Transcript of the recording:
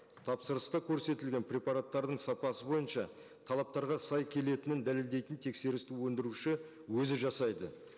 тапсырыста көрсетілген препараттардың сапасы бойынша талаптарға сай келетінін дәлелдейтін тексерісті өндіруші өзі жасайды